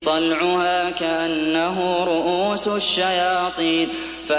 طَلْعُهَا كَأَنَّهُ رُءُوسُ الشَّيَاطِينِ